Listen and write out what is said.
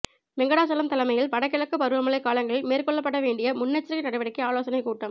வெங்கடாசலம் தலைமையில் வடகிழக்கு பருவமழை காலங்களில் மேற்கொள்ளப்பட வேண்டிய முன்னெச்சரிக்கை நடவடிக்கை ஆலோசனை கூட்டம்